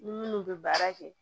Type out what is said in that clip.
Ni minnu bɛ baara kɛ